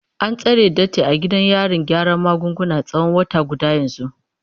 An tsare Datti a gidan yarin gyaran magunguna tsawon wata guda yanzu.